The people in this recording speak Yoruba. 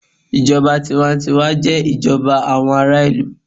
Ìjọba tiwa n tiwa jé ìjọba àwọn ará ìlú